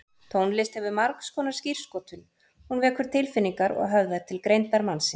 Tónlist hefur margskonar skírskotun, hún vekur tilfinningar og höfðar til greindar mannsins.